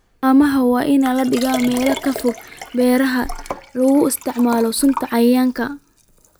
Haamaha waa in la dhigaa meelo ka fog beeraha lagu isticmaalo sunta cayayaanka.